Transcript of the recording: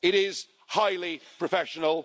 It is highly professional.